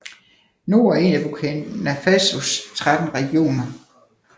Nord er en af Burkina Fasos 13 regioner